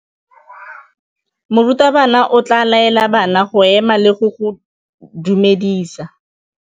Morutabana o tla laela bana go ema le go go dumedisa.